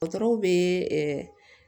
Dɔgɔtɔrɔw bɛ